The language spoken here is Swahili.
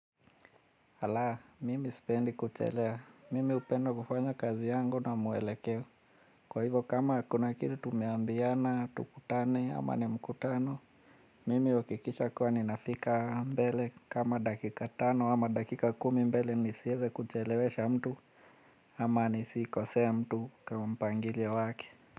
Ala mimi sipendi kuchelea mimi hupenda kufanya kazi yangu na mwelekeo. Kwa hivyo kama kuna kitu tumeambiana tukutane ama ni mkutano. Mimi huhakikisha kuwa ninafika mbele kama dakika tano ama dakika kumi mbele nisieze kuchelewesha mtu. Ama nisikosee mtu kwa mpangilio wake.